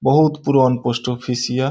बहुत पुरान post office ये।